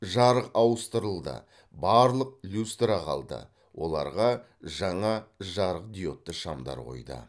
жарық ауыстырылды барлық люстра қалды оларға жаңа жарықдиодты шамдар қойды